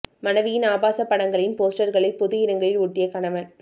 மனைவியின் ஆபாச படங்களின் போஸ்டர்களை பொது இடங்களில் ஒட்டிய கணவன்